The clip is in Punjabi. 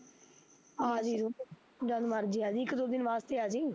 ਆਜੀ ਤੂ, ਜਦ ਮਰਜ਼ੀ ਆਜੀ ਇੱਕ ਦੋ ਦਿਨ ਵਾਸਤੇ ਆਜੀ